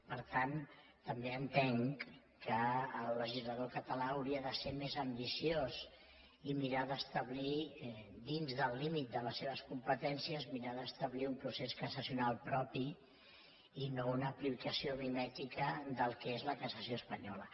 per tant també entenc que el legislador català hauria de ser més ambiciós i mirar d’establir dins del límit de les seves competències un procés cassacional propi i no una aplicació mimètica del que és la cassació espanyola